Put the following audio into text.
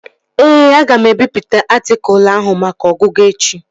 Ee, aga m ebipụta atịkụlu ahụ maka ọgụgụ echi